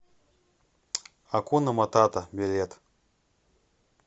акуна матата билет